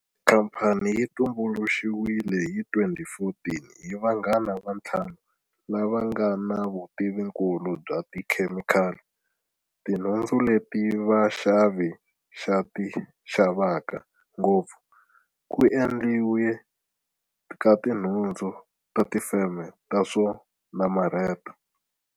Khamphani yi tumbuluxiwile hi 2014 hi vanghana va ntlhanu lava nga na vutivinkulu bya ti khemikhali, tinhundzu leti vaxavi xa ti xavaka ngopfu, ku endliwa ka tinhundzu na tifeme ta swo namarheta.